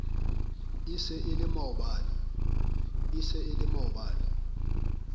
e se e le maobane